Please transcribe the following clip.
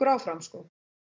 áfram sko